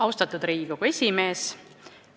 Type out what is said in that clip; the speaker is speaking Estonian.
Austatud Riigikogu esimees!